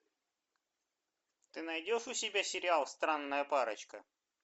ты найдешь у себя сериал странная парочка